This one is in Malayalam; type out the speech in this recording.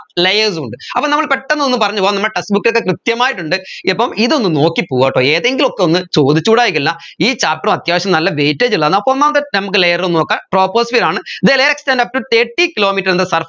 layers ഉണ്ട് അപ്പൊ നമ്മൾ പെട്ടെന്ന് ഒന്ന് പറഞ്ഞുപോവാം നമ്മടെ textbook ൽ ഇത് കൃത്യമായിട്ടുണ്ട് ഇപ്പം ഇതൊന്നു നോക്കിപോവാട്ടോ ഏതെങ്കിലും ഒക്കെ ഒന്ന് ചോദിച്ചൂടായ്കയില്ല ഈ chapter ഉം അത്യാവശ്യം നല്ല weightage ഉള്ളതാണ് അപ്പൊ ഒന്നാമത്തെ നമ്മുക്ക് layer ഒന്ന് നോകാം troposphere ആണ് the layer extend upto thirty kilometre in the surface